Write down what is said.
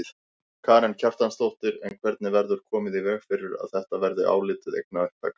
Karen Kjartansdóttir: En hvernig verður komið í veg fyrir að þetta verði álitið eignaupptaka?